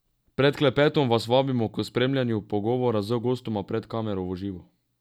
Pred klepetom vas vabimo k spremljanju pogovora z gostoma pred kamero v živo.